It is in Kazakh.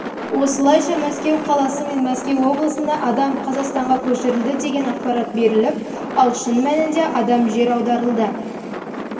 осылайша мәскеу қаласы мен мәскеу облысында адам қазақстанға көшірілді деген ақпарат беріліп ал шын мәнінде адам жер аударылды